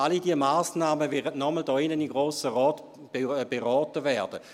Alle diese Massnahmen werden nochmals hier im Grossen Rat beraten werden.